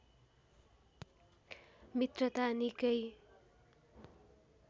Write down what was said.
मित्रता निकै